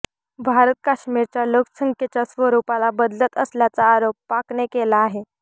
भारत काश्मीरच्या लोकसंख्येच्या स्वरुपाला बदलत असल्याचा आरोप पाकने केला आहे